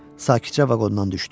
Sakitcə vaqondan düşdü.